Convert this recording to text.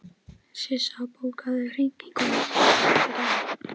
Sissa, bókaðu hring í golf á fimmtudaginn.